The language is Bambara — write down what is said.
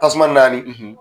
Tasuma naani.